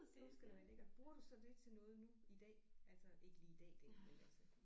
Det var sgu da lækkert. Bruger du så det til noget nu i dag. Altså ikke lige i dag dag men altså